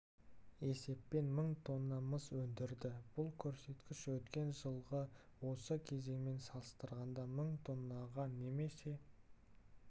есеппен мың тонна мыс өндірді бұл көрсеткіш өткен жылғы осы кезеңмен салыстырғанда мың тоннаға немесе